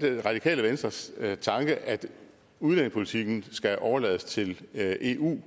det er radikale venstres tanke at udlændingepolitikken skal overlades til eu